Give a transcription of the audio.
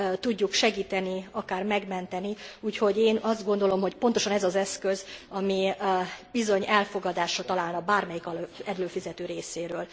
tudjuk segíteni, akár megmenteni, úgyhogy én azt gondolom, hogy pontosan ez az az eszköz, ami bizony elfogadásra találna bármelyik előfizető részéről.